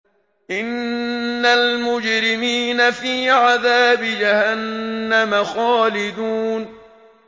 إِنَّ الْمُجْرِمِينَ فِي عَذَابِ جَهَنَّمَ خَالِدُونَ